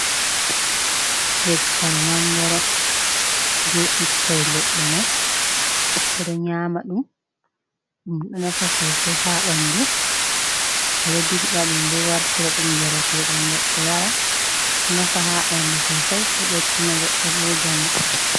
Leggal mangoro! Be ɓikkoi leɗɗe mai, ɓeɗo nƴama ɗum. Ɗum ɗo nafa sosai ha ɓandu. Ɓe ɗo dirɓa ɗum bo wartira ɗum njareteɗam, goɗɗo yara. Ɗo nafa ha ɓandu sosai, ɗo ɓeddina goɗɗo bo njamu.